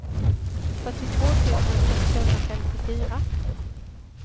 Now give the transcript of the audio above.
fyrtiotvå tusen sexhundrafemtiofyra